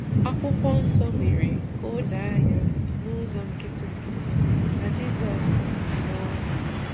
Akwụkwọ Nsọ mere ka o doo anya n'ụzọ nkịtị nkịtị na Jizọs si n'ọnwụ bilie.